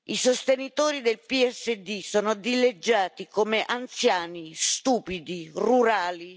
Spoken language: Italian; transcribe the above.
I sostenitori del PSD sono dileggiati come anziani, stupidi, rurali.